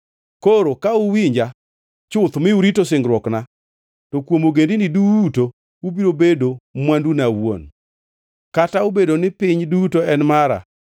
Koro, ka uwinja chuth mi urito singruokna, to kuom ogendini duto ubiro bedo mwanduna awuon. Kata obedo ni piny duto en mara,